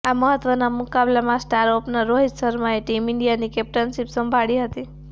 આ મહત્વના મુકાબલામાં સ્ટાર ઓપનર રોહિત શર્માએ ટીમ ઈન્ડિયાની કેપ્ટનશીપ સંભાળી હતી